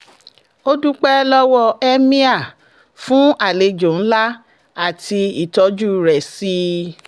ó dúpẹ́ lọ́wọ́ emir fún àlejò ńlá àti ìtọ́jú rẹ̀ sí i